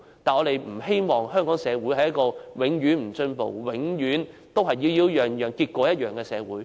我們不希望香港社會是一個永不進步、永遠都是"擾擾攘攘，結果一樣"的社會。